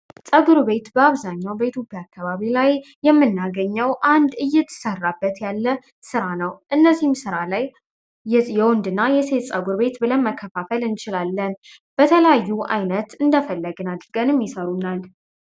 ጸጉር ቤት በአብዛኛው በኢትዮጵያ አካባቢ ላይ የምናገኘው አንድ እየተሰራበት ያለ ሥራ ነው። እነዚህም ሥራ ላይ የወንድ እና የሴት ጸጉር ቤት ብለን መከፋፈል እንችላለን። በተለያዩ ዓይነት እንደፈለግን አድርገን ይሰሩናል።